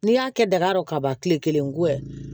N'i y'a kɛ daga dɔ ka ban kile kelen ko ye